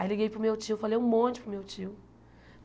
Aí liguei para o meu tio, falei um monte para o meu tio.